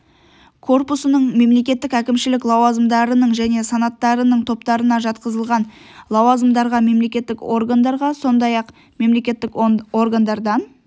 корпусының мемлекеттік әкімшілік лауазымдарының және санаттарының топтарына жатқызылған лауазымдарға мемлекеттік органдарға сондай-ақ мемлекеттік органдардан